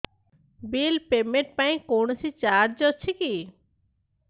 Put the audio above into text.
bill payment ପାଇଁ କୌଣସି charge ଅଛି କି